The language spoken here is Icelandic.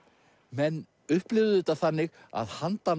menn upplifðu þetta þannig að handan